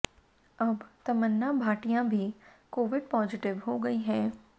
अब तमन्ना भाटिया भी Covid positive हो गई हैं